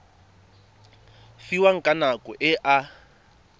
fiwang ka nako e a